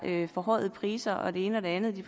forhøjede priser og det ene og det andet